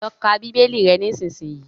Lọ kà bibeli rè nisisiyi!